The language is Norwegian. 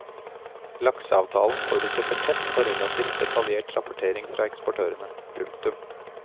Lakseavtalen forutsetter tett og relativt detaljert rapportering fra eksportørene. punktum